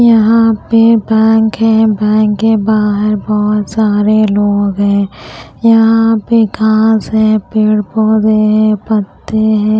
यहां पे बैंक है बैंक के बाहर बहोत सारे लोग हैं यहां पे घास है पेड़ पौधे हैं पत्ते हैं।